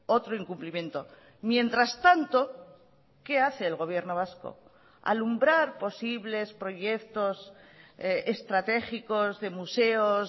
otro incumplimiento mientras tanto qué hace el gobierno vasco alumbrar posibles proyectos estratégicos de museos